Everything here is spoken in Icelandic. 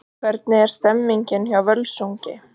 Hvernig er stemningin hjá Völsungi?